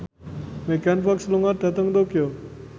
Megan Fox lunga dhateng Tokyo